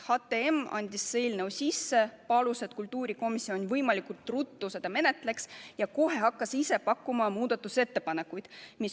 HTM andis eelnõu sisse, palus, et kultuurikomisjon võimalikult ruttu seda menetleks, ja kohe hakkas ise pakkuma muudatusettepanekuid.